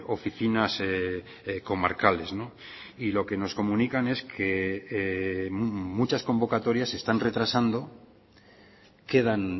oficinas comarcales y lo que nos comunican es que muchas convocatorias se están retrasando quedan